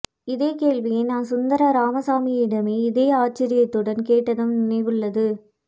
இதே கேள்வியை நான் சுந்தர ராமசாமியிடம இதே ஆச்சரியத்துடன் கேட்டதும் நினைவுள்ளது